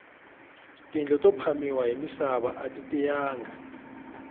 tindlo ta phamiwa hi misava ati tiyanga